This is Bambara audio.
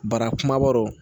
Bara kumaba rɔ